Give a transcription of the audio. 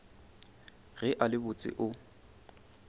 ge a le botse o